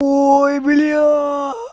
ой блядь